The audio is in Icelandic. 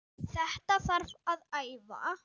Þetta þarf að æfa.